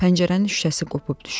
Pəncərənin şüşəsi qopub düşüb.